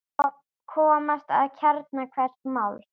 Komast að kjarna hvers máls.